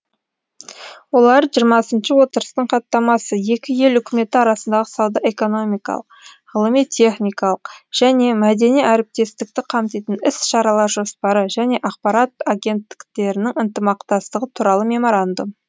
олар жиырмасыншы отырыстың хаттамасы екі ел үкіметі арасындағы сауда экономикалық ғылыми техникалық және мәдени әріптестікті қамтитын іс шаралар жоспары және ақпарат агенттіктерінің ынтымақтастығы туралы меморандум